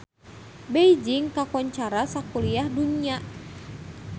Beijing kakoncara sakuliah dunya